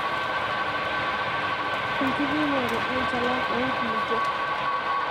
Enkipimore enchalan oo nkulupuok.